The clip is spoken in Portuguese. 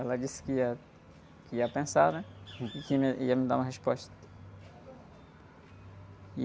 Ela disse que ia, que ia pensar, né? E que ia me, ia me dar uma resposta.